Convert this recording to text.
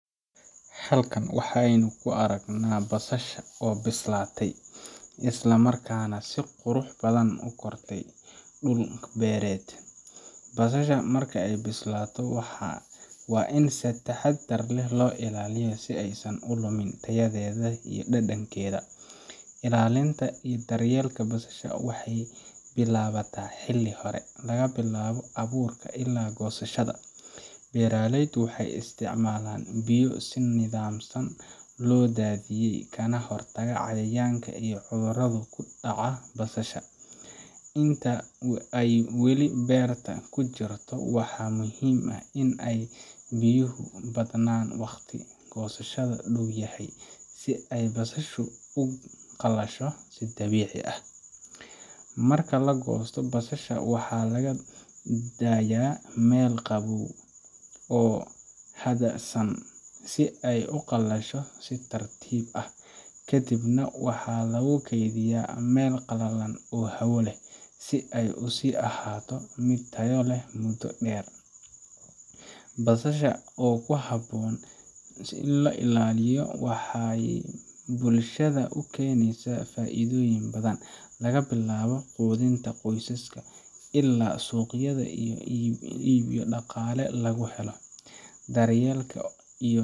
Halkan waxa aynu ku arkaynaa basasha oo bislaatay, isla markaana si qurux badan ugu kortay dhul beereed. Basasha marka ay bislaato, waa in si taxaddar leh loo ilaaliyo si aanay u lumin tayadeeda iyo dhadhankeeda. Ilaalinta iyo daryeelka basasha waxay bilaabataa xilli hore laga bilaabo abuurka ilaa goosashada. Beeraleydu waxay isticmaalaan biyo si nidaamsan loo daadiyay, kana hortaga cayayaanka iyo cudurrada ku dhaca basasha. Inta ay weli beerta ku jirto, waxa muhiim ah in aay biyuhu badnaan wakhtiga goosashada dhow yahay, si ay basashu u qalasho si dabiici ah. Marka la goosto, basasha waxaa loo daayaa meel qabow oo hadhsan si ay u qalasho si tartiib ah. Kadibna waxa lagu kaydiyaa meel qalalan oo hawo leh, si ay u sii ahaato mid tayo leh muddo dheer. Basasha oo si habboon loo ilaaliyo waxay bulshada u keenaysaa faa’iidooyin badan laga bilaabo quudinta qoysaska, ilaa suuqyada lagu iibiyo oo dhaqaale lagu helo. Daryeelka iyo.